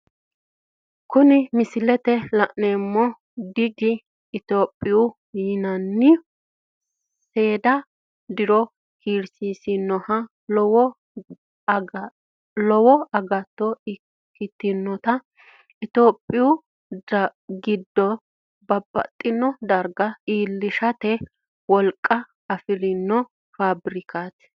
Kuni misilete la'neemohu bgi ethooiaho yinanninhu seeda diro kiirisisinohunna lowo agato ikkitinotta tophiyuu gidooni babaxino dariga iillishate woliqa afirinno faabirikati